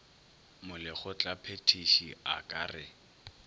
molekgotla phethiši a ka re